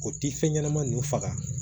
O ti fɛn ɲɛnama ninnu faga